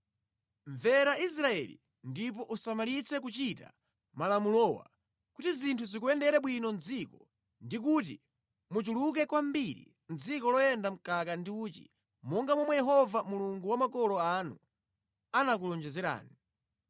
Mvera Israeli ndipo usamalitse kuchita malamulowa kuti zinthu zikuyendere bwino mʼdziko ndi kuti muchuluke kwambiri mʼdziko loyenda mkaka ndi uchi monga momwe Yehova Mulungu wa makolo anu anakulonjezerani.